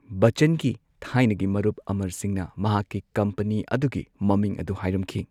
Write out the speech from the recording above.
ꯕꯆꯆꯟꯒꯤ ꯊꯥꯏꯅꯒꯤ ꯃꯔꯨꯞ, ꯑꯃꯔ ꯁꯤꯡꯍꯅ ꯃꯍꯥꯛꯀꯤ ꯀꯝꯄꯅꯤ ꯑꯗꯨꯒꯤ ꯃꯃꯤꯡ ꯑꯗꯨ ꯍꯥꯏꯔꯝꯈꯤ꯫